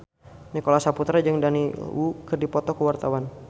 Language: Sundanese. Nicholas Saputra jeung Daniel Wu keur dipoto ku wartawan